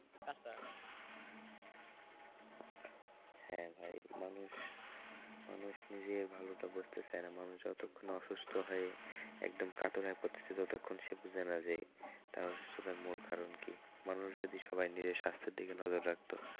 হ্যাঁ ভাই মানুষ মানুষ নিজের ভালোটা বুঝতে চায় না মানুষ যতক্ষণ না অসুস্থ হয়ে একদম কাতর হয়ে পড়তেছে ততক্ষণ সে বুঝেনা যে তার অসুস্থতার মূল কারণ কি মানুষ যদি সবাই নিজের স্বাস্থ্যের দিকে নজর রাখ তো,